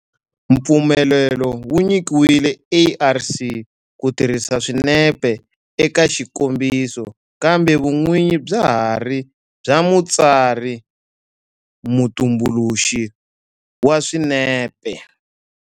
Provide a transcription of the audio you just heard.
Mpfumelelo wu nyikiwile ARC ku tirhisa swinepe eka xikombiso kambe vun'winyi bya ha ri bya mutsari-mutumbuluxi wa swinepe.